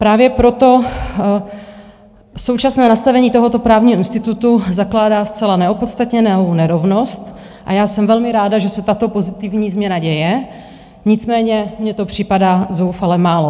Právě proto současné nastavení tohoto právního institutu zakládá zcela neopodstatněnou nerovnost a já jsem velmi ráda, že se tato pozitivní změna děje, nicméně mně to připadá zoufale málo.